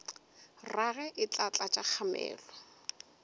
rage e tla tlatša kgamelo